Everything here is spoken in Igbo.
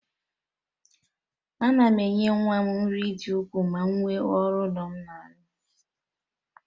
A na m enye nwa m nri dị ukwuu ma nwe ọrụ ụlọ m na-arụ